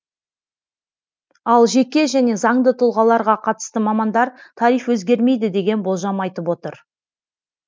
ал жеке және заңды тұлғаларға қатысты мамандар тариф өзгермейді деген болжам айтып отыр